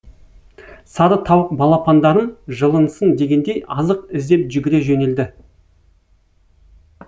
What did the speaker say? сары тауық балапандарым жылынсын дегендей азық іздеп жүгіре жөнелді